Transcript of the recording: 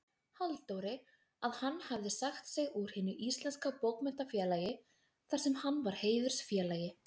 Halldóri, að hann hefði sagt sig úr Hinu íslenska bókmenntafélagi, þarsem hann var heiðursfélagi.